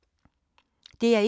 DR1